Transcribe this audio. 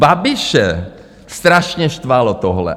Babiše strašně štvalo tohle.